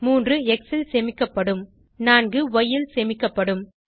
3 X ல் சேமிக்கப்படும் 4 ய் ல் சேமிக்கப்படும்